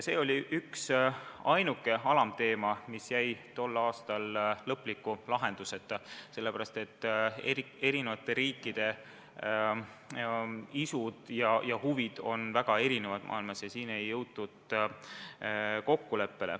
See oli ainuke alamteema, mis jäi tol aastal lõpliku lahenduseta, kuna eri riikide isud ja huvid on väga erinevad ja kokkuleppele ei jõutud.